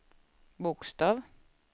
bokstav